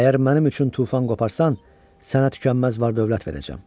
Əgər mənim üçün tufan qoparsan, sənə tükənməz var-dövlət verəcəm.